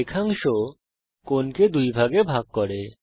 রেখাংশ কোণকে দুভাগে ভাগ করে